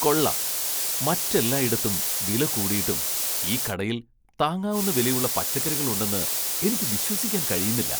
കൊള്ളാം, മറ്റെല്ലായിടത്തും വിലകൂടിയിട്ടും ഈ കടയിൽ താങ്ങാവുന്ന വിലയുള്ള പച്ചക്കറികളുണ്ടെന്ന് എനിക്ക് വിശ്വസിക്കാൻ കഴിയുന്നില്ല!